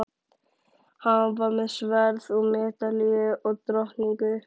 Hann var með sverð og medalíu og drottningu.